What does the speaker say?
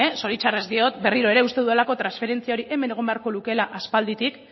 zoritzarrez diot berriro ere uste dudalako transferentzia hori hemen egon beharko lukeela aspalditik